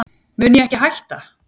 mun ég ekki hætta?